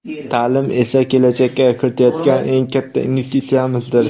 ta’lim esa kelajakka kiritayotgan eng katta investitsiyamizdir.